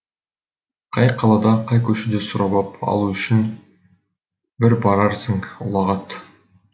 қай қалада қай көшеде сұрап ап алу үшін бір барарсың ұлағат